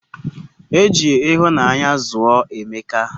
Eji ihunanya zuo emeka